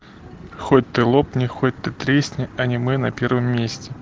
хоть ты лопни хоть ты тресни аниме на первом месте